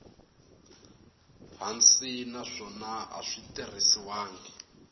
hansi naswona a swi tirhisiwangi